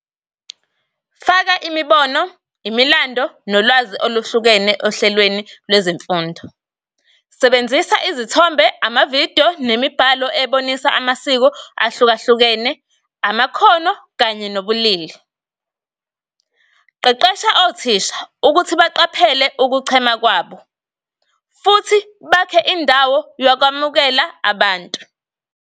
Faka imibono, imilando nolwazi oluhlukene ohlelweni lwezemfundo. Sebenzisa izithombe, amavidiyo nemibhalo ebonisa amasiko ahluka-hlukene, amakhono kanye nobulili. Qeqesha othisha ukuthi baqaphele ukuchema kwabo, futhi bakhe indawo yokwamukela abantu.